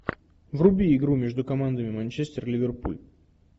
вруби игру между командами манчестер ливерпуль